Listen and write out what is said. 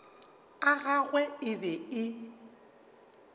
a gagwe e be e